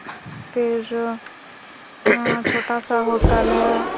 फिर यहाँ छोटा-सा होटल हैं।